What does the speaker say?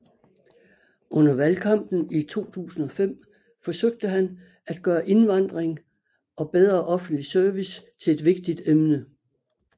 Under valgkampen i 2005 forsøgte han at gøre indvandring og bedre offentlig service til et vigtigt emne